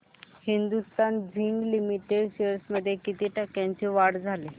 Hindustan zinc limited shares मध्ये किती टक्क्यांची वाढ झाली